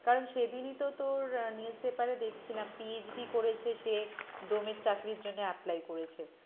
কারণ সেদিনই তো তোর আহ news paper এ দেখছিলাম PhD করেছে সে ডোমের চাকরির জন্য apply করেছে।